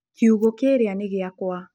kiugũ kĩrĩa nĩ gĩakwa